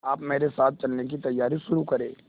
आप मेरे साथ चलने की तैयारी शुरू करें